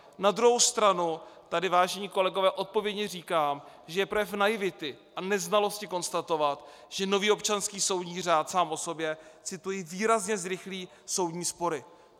Na druhou stranu tady, vážení kolegové, odpovědně říkám, že je projev naivity a neznalosti konstatovat, že nový občanský soudní řád sám o sobě - cituji - výrazně zrychlí soudní spory.